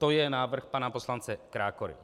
To je návrh pana poslance Krákory.